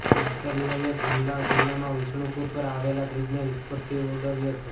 નક્સલીઓએ ગુમલા જિલ્લામાં વિષ્ણુપુર પર આવેલા બ્રિજને વિસ્ફોટથી ઉડાવ્યો છે